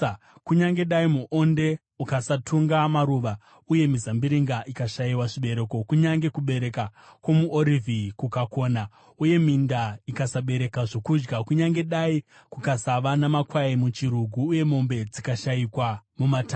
Kunyange dai muonde ukasatunga maruva, uye mizambiringa ikashayiwa zvibereko, kunyange kubereka kwomuorivhi kukakona, uye minda ikasabereka zvokudya, kunyange dai kukasava namakwai muchirugu uye mombe dzikashayikwa mumatanga,